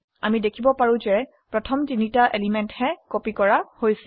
আমি দেখিব পাৰো যে প্ৰথম তিনটি এলিমেন্টহে কপি কৰা হৈছে